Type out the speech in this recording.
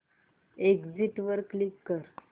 exit वर click कर